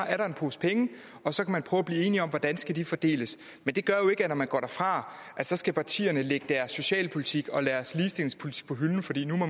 er en pose penge og så kan man prøve at blive enige om hvordan de skal fordeles men det gør jo ikke at når man går derfra skal partierne lægge deres socialpolitik og deres ligestillingspolitik på hylden fordi